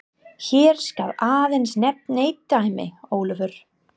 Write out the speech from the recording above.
Hér skal aðeins nefnt eitt dæmi: Ólafur